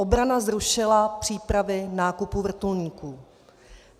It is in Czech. Obrana zrušila přípravy nákupu vrtulníků.